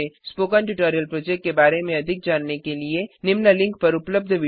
spoken tutorial project के बारे में अधिक जानने के लिए निम्न लिंक पर उपलब्ध विडियो देखें